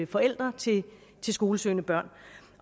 forældre til skolesøgende børn